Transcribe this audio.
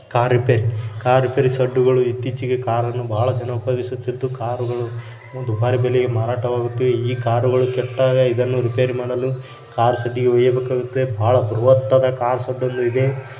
Car repair car repair ಶೆಡ್ಡುಗಳು ಇತ್ತೀಚಿಗೆ ಕಾರನ್ನು ಇತ್ತೀಚಿಗೆ ಬಹಳ ಜನ ಉಪಯೋಗಿಸುತ್ತಿದ್ದು ಕಾರು ಗಳು ದುಭಾರಿ ಬೆಲೆಗೆ ಮಾರಾಟ ಆಗುತ್ತಿವೆ. ಈ ಕಾರುಗಳು ಇದನ್ನು ರಿಪೇರಿ ಮಾಡಲು ಕಾರ್ ಶೆಡ್ಡಿಗೆ ಒಯ್ಯಬೇಕಾಗುತ್ತೆ ಬಾಳ ಬೃಹತ್ತಾದ ಕಾಸು--